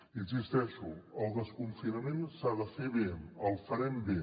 hi insisteixo el desconfinament s’ha de fer bé el farem bé